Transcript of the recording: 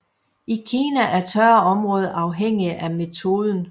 I Kina er tørre områder afhængige af metoden